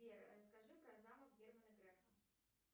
сбер расскажи про замок германа грефа